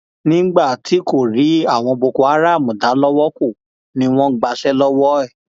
nígbà tí kò rí àwọn boko haram dá lowó kọ ni ni wọn gbàṣẹ lọwọ ẹ